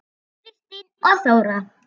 Kristín og Þóra.